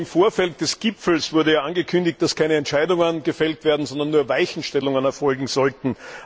Schon im Vorfeld des Gipfels wurde angekündigt, dass keine Entscheidungen gefällt werden, sondern nur Weichenstellungen erfolgen sollten.